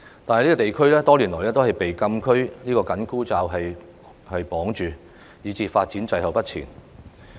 可是，該區多年來都被"禁區"這個緊箍咒綁住，以致發展滯後不前。